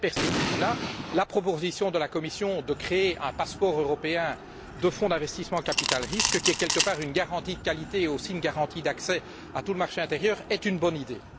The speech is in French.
Dans cette perspective, la proposition de la Commission de créer un passeport européen de fonds d'investissement en capital risque, qui est quelque part une garantie de qualité et aussi une garantie d'accès à tout le marché intérieur, est une bonne idée.